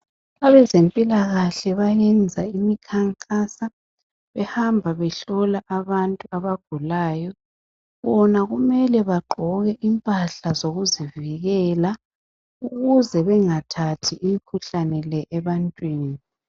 Abezempilakahle bayenza imikhankaso behamba behlola abantu abagulayo bona kumele bagqoke impahla zokuzivikela ukuze bengathathi imkhuhlane le ebantwini.